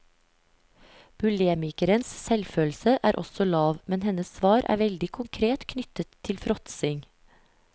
Bulemikerens selvfølelse er også lav, men hennes svar er veldig konkret knyttet til fråtsing.